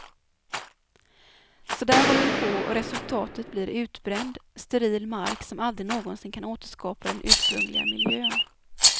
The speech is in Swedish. Så där håller det på och resultatet blir utbränd, steril mark som aldrig någonsin kan återskapa den ursprungliga miljön.